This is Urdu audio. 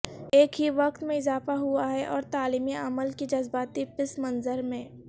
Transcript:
ایک ہی وقت میں اضافہ ہوا ہے اور تعلیمی عمل کی جذباتی پس منظر میں